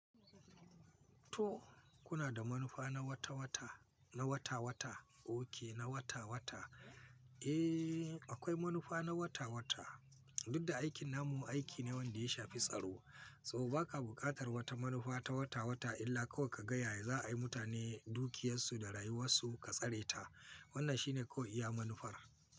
To kuna da manufa na wata-wata, na wata-wata? Ok, na wata-wata. Eh, akwai manufa na wata-wata. Duk da aikin namu aiki ne wanda ya shafi tsaro, so ba ka buƙatar wata manufa ta wata-wata illa kawai ka ga ya za a yi mutane dukiyarsu da rayuwarsu ka tsare ta. Wannan shine kawai iya manufar.